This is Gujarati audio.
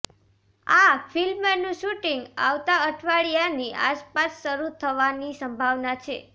આ ફિલ્મનું શૂટિંગ આવતા અઠવાડિયાની આસપાસ શરૂ થવાની સંભાવના છે